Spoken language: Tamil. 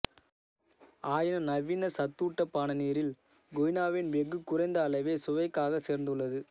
ஆயினும் நவீன சத்தூட்ட பான நீரில் கொய்னாவின் வெகு குறைந்த அளவே சுவைக்காக சேர்ந்துள்ளது